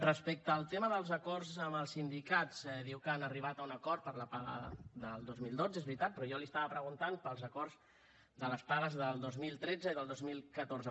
respecte al tema dels acords amb els sindicats diu que han arribat a un acord per a la paga del dos mil dotze és veritat però jo li estava preguntant pels acords de les pagues del dos mil tretze i del dos mil catorze